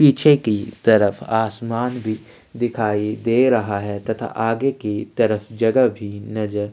पीछे की तरफ आसमान भी दिखाई दे रहा है तथा आगे की तरफ जगह भी नजर --